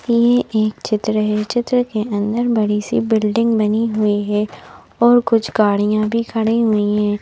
ये एक चित्र है चित्र के अंदर बड़ी सी बिल्डिंग बनी हुई है और कुछ गाड़ियां भी खड़ी हुई हैं।